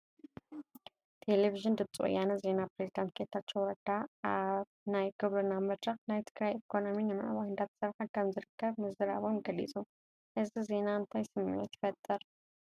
ቴለብዥን ድምፂ ወያነ ዜና ፕሬዝዳንት ጌታቸው ረዳ ኣብ ናይ ግብርና መድረኽ ናይ ትግራይ ኢኮነሚ ንምዕባይ እንዳተሰርሐ ከምዝርከብ ምዝራቦም ገሊፁ፡፡ እዚ ዜና እንታይ ስምዒት ይፈጥር?